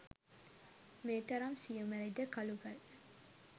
මේ තරම් සියුමැලි ද කළු ගල්